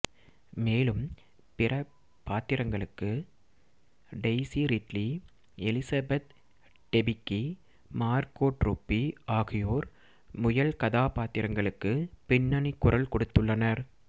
மேலும் பிற பாத்திரங்களுக்கு Daisy Ridley Elizabeth Debicki Margot Robbie ஆகியோர் முயல் கதாபாத்திரங்களுக்கு பின்னணி குரல் கொடுத்துள்ளனர்